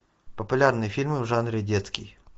популярные фильмы в жанре детский